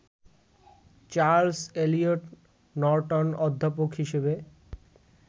Charles Eliot Norton অধ্যাপক হিসেবে